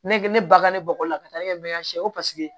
Ne ne ba ka ne bɔgɔ la ka taa ne kɛ